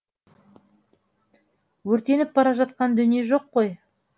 өртеніп бара жатқан дүние жоқ қой